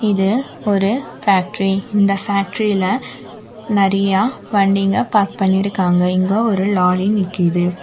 இது ஒரு ஃபேக்ட்ரி இந்த ஃபேக்ட்ரில நறியா வண்டிங்க பார்க் பண்ணிருக்காங்க இங்க ஒரு லாரி நிக்கிது.